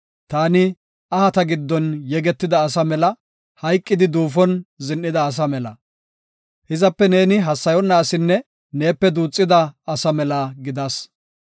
Taani ahata giddon yegetida asa mela; hayqidi duufon zin7ida asa mela. Hizape neeni hassayonna asinne neepe duuxida asa mela gidas.